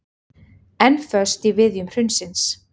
Enn föst í viðjum hrunsins